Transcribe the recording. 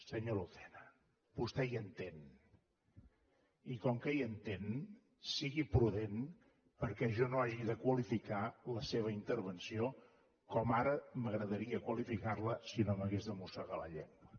senyor lucena vostè hi entén i com que hi entén sigui prudent perquè jo no hagi de qualificar la seva intervenció com ara m’agradaria qualificar la si no m’hagués de mossegar la llengua